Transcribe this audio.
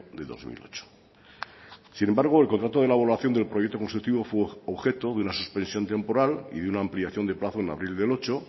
del dos mil ocho sin embargo el contrato de elaboración del proyecto constructivo fue objeto de una suspensión temporal y de una ampliación de plazo en abril del dos mil ocho